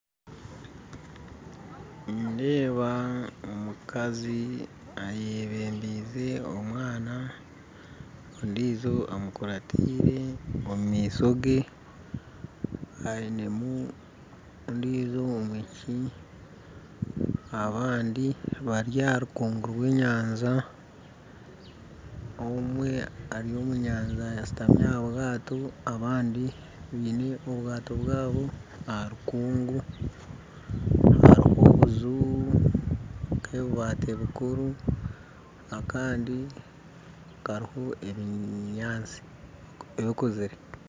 Nindeeba omukazi ayebembize omwana ondiijo amukurataire omu maisho ge aineho ondiijo omwishiki abandi bari aha nkungu y'enyanja omwe ari omu nyanja ashuutamire aha bwato abandi baine obwato bwabo aha bikungu hariho obunju bw'ebibaati bikuru akandi kariho ebinyaatsi ebikuzire